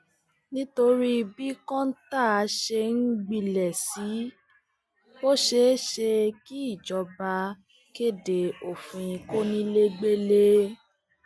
nítorí bí kọńtà ṣe ń gbilẹ sí i ó ṣeé ṣe kíjọba kéde òfin kọnilẹgbẹlẹ